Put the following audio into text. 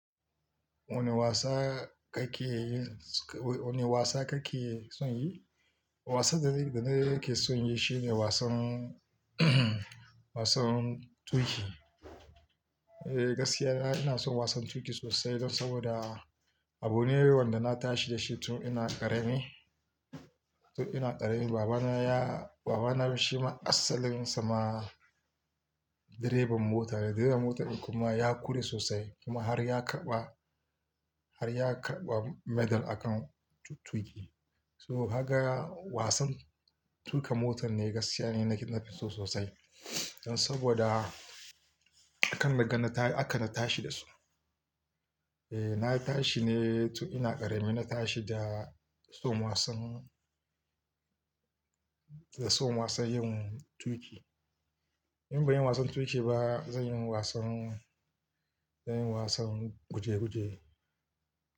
Wane wasa kake, wane wasa kake son yi? Wasa da, da nake son yi shine wasan, wasan tuƙi. Eh gaskiya ina son wasan tuƙi sosai don saboda abune wanda na tashi da shi tun ina ƙarami. Tun ina ƙarami baba na ya, baba na shi ma asalin sa ma direban mota ne. Direban mota kuma ya kure sosai kuma har ya karɓa, har ya karɓa medal akan tuƙi. So kaga wasan tuƙa mota ne gaskiya nake, nake so sosai. Don saboda akan naga na ta, haka na tashi da su. Eh na tashi ne tun ina ƙarami na tashi da son wasan, da son wasan yin tuƙi. In bai yi wasan tuƙi ba zan yi wasan, zan yi wasan guje-guje.